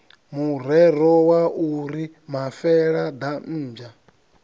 murero wa u ri mafeladambwa